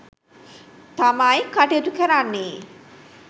තමයි කටයුතු කරන්නේ